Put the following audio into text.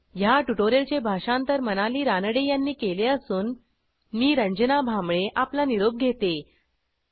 ह्या ट्युटोरियलचे भाषांतर मनाली रानडे यांनी केले असून मी रंजना भांबळे आपला निरोप घेते160